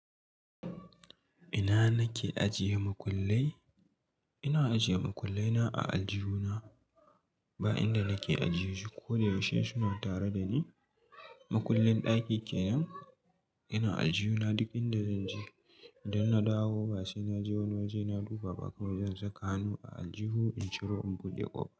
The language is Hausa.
Ina nake ajiye makullai? Ina ajiye makullai na a aljihuna, ba inda nake ajiye shi ko da yaushe suna tare da ni. Makullin ɗaki kenan. Ina aljihuna duk inda zan je. Idan na dawo ba sai na je wani waje na duba ba kamar zan saka hannu a aljihu in ciro in buɗe ƙofa.